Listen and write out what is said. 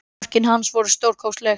Mörkin hans voru stórkostleg